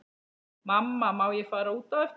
Mamma má ég fara út á eftir?